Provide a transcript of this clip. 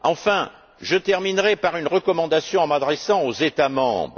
Enfin, je terminerai par une recommandation en m'adressant aux États membres.